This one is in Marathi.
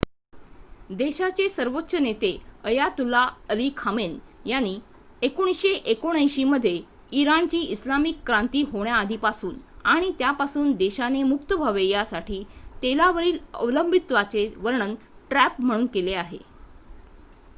"देशाचे सर्वोच्च नेते अयातुल्ला अली खमेनी यांनी 1979 मध्ये इराणची इस्लामिक क्रांती होण्याआधीपासून आणि त्यापासून देशाने मुक्त व्हावे यासाठी तेलावरील अवलंबित्वाचे वर्णन "ट्रॅप" म्हणून केले आहे.